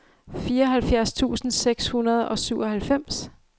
fireoghalvfjerds tusind seks hundrede og syvoghalvfems